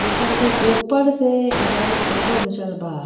जेकर के ऊपर से एकरा के फोटो घींचल बा।